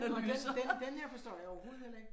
Den den den den her forstår jeg overhovedet heller ikke